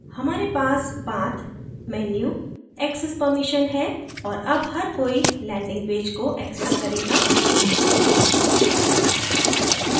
हमारे पास path menu access permission है और अब हर कोई landing पेज को access करेगा